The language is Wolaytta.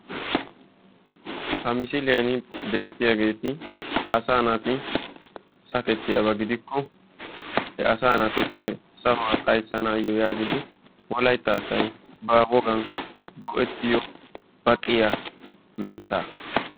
ha missiliyani beettiyaageeti asaa naati sakkettiyaaba gidikko he asaa naatuppe sahuwa xayssanaayo yaagidi wolaytta asay haahodan go'etiyo baqqiya mitaa.